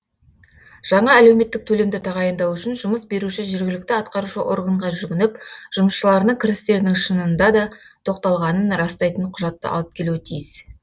жаңа әлеуметтік төлемді тағайындау үшін жұмыс беруші жергілікті атқарушы органға жүгініп жұмысшыларының кірістерінің шынында да тоқтатылғанын растайтын құжатты алып келуі тиіс